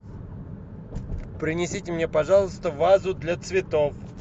принесите мне пожалуйста вазу для цветов